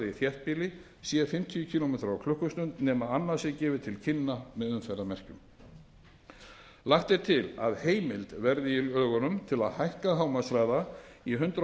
nema annað sé gefið til kynna með umferðarmerkjum lagt til að heimild verði í lögunum til að hækka hámarkshraða í hundrað